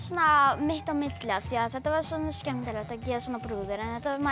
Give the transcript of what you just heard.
mitt á milli af því þetta var skemmtilegt að gera svona brúður en þetta var